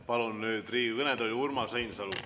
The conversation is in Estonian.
Palun nüüd Riigikogu kõnetooli Urmas Reinsalu.